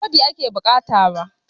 Ba rodi ake bukata ba